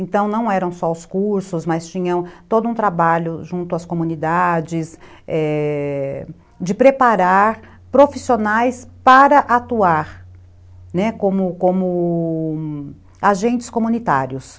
Então, não eram só os cursos, mas tinham todo um trabalho junto às comunidades, é.. de preparar profissionais para atuar, né, como como agentes comunitários.